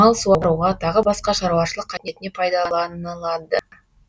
мал суаруға тағы басқа шаруашылық қажетіне пайдаланылады